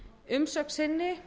umsögn sinni